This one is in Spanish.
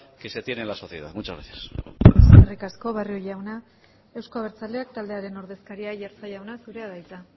que se tiene en la sociedad muchas gracias eskerrik asko barrio jauna euzko abertzaleak taldearen ordezkaria aiartza jauna zurea da hitza